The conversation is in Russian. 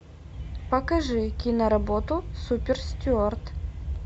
покажи киноработу супер стюард